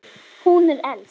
Hún er elst.